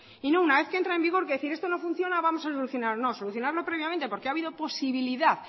y no una vez que entra en vigor decir que si esto no funciona vamos a solucionarlo no solucionarlo previamente porque ha habido posibilidad